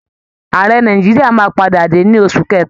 Àrẹ nàìjíríà máa padà dé ní oṣù kẹta